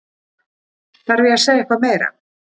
Þarf ég að segja eitthvað meira?